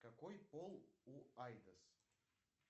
какой пол у айдос